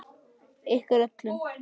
Ykkur öllum!